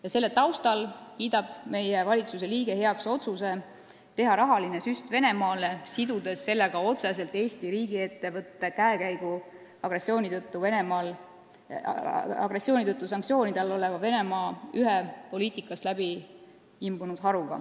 Ja selle taustal kiidab meie valitsuse liige heaks otsuse teha rahaline süst Venemaale, sellega otseselt sidudes Eesti riigiettevõtte käekäigu agressiooni tõttu sanktsioonide all oleva Venemaa ühe majandusharuga, mis on poliitikast läbi imbunud.